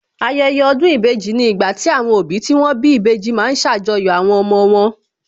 Ayẹyẹ ọdún ìbejì ni ìgbà tí àwọn òbí tí wón bí ìbejì ma ń ṣàjọyọ̀ àwọn ọmọ wọn